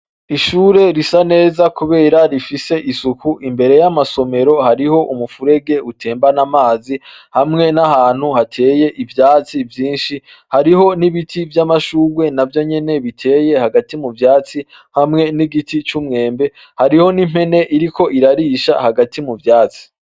Ishure risa neza kubera rifise isuku, imbere y'amasomero hariho umuferege utembanana amazi, hamwe n'ahantu hateye ivyatsi vyinshi, hariho n'ibiti vy'amashurwe navyo nyene biteye hagati mu vyatsi ,hamwe n'igiti c'umwembe, hariho n'impene iriko irarisha hagati muvyatsi.